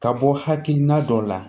Ka bɔ hakilina dɔ la